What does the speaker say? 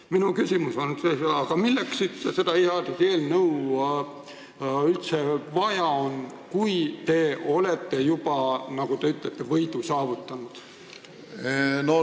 Minu küsimus on: aga milleks seda seaduseelnõu üldse vaja on, kui te olete juba võidu saavutanud, nagu te ütlesite?